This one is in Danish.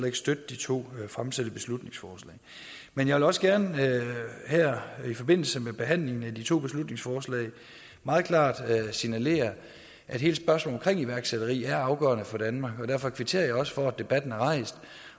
ikke støtte de to fremsatte beslutningsforslag men jeg vil også gerne her i forbindelse med behandlingen af de to beslutningsforslag meget klart signalere at hele spørgsmålet om iværksætteri er afgørende for danmark og derfor kvitterer jeg også for at debatten er rejst